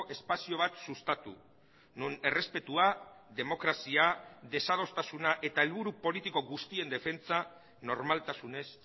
espazio bat sustatu non errespetua demokrazia desadostasuna eta helburu politiko guztien defentsa normaltasunez